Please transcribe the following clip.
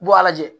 Bɔ a lajɛ